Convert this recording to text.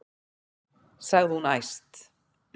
sagði hún æst.